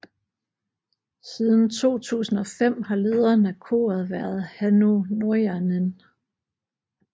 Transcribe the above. Siden 2005 har lederen af koret været Hannu Norjanen